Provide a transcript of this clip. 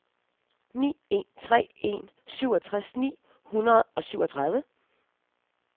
ni en tre en syvogtres ni hundrede og syvogtredive